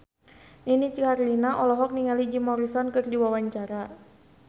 Nini Carlina olohok ningali Jim Morrison keur diwawancara